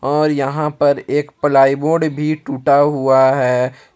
और यहां पर एक प्लाईवुड भी टूटा हुआ है।